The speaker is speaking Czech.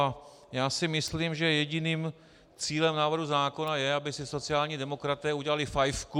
A já si myslím, že jediným cílem návrhu zákona je, aby si sociální demokraté udělali fajfku.